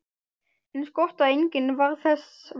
Eins gott að enginn varð þess var!